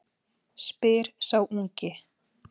spyr sá ungi.